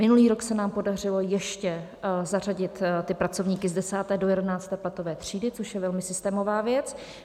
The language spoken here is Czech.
Minulý rok se nám podařilo ještě zařadit ty pracovníky z 10. do 11. platové třídy, což je velmi systémová věc.